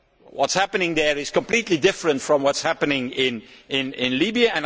What is happening there is completely different from what is happening in Libya.